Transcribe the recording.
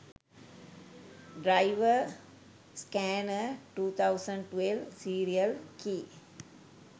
driver scanner 2012 serial key